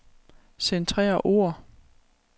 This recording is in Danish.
Centrer ord.